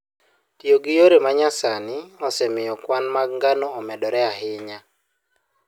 Tiyo gi yore ma nyasani osemiyo kwan mag ngano omedore ahinya.